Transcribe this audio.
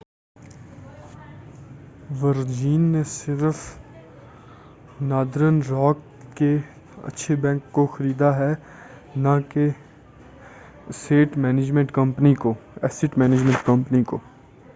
ورجین نے صرف Northern Rock کے اچھے بینک' کو خریدا ہے نہ کہ اسیٹ مینجمنٹ کمپنی کو